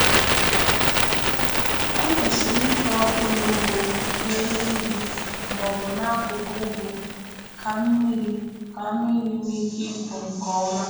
E kwesịrị ịtọ ụlọ ugbo n’elu ugwu ma ọ bụ n’akụkụ ugwu ka mmiri ka mmiri nwee ike ịpụ nke ọma.